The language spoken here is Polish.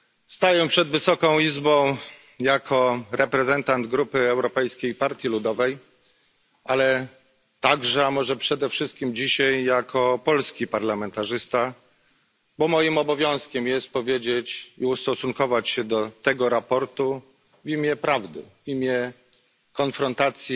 Staję dzisiaj przed Wysoką Izbą jako reprezentant Grupy Europejskiej Partii Ludowej, ale także a może przede wszystkim jako polski parlamentarzysta, bo moim obowiązkiem jest powiedzieć i ustosunkować się do tego sprawozdania w imię prawdy, w imię konfrontacji